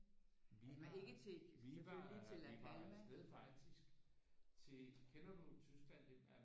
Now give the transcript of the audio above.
Vi var vi var vi var afsted faktisk til kender du Tyskland den der